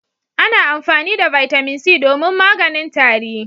Ana amfani da Bitamin C domin maganin tari.